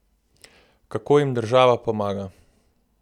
Kako jim država pomaga?